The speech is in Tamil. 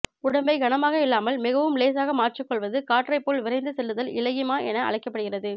உடம்பை கனமாக இல்லாமல் மிகவும் லேசாக மாற்றிக் கொள்வது காற்றைப் போல் விரைந்து செல்லுதல் இலகிமா என அழைக்கப்படுகிறது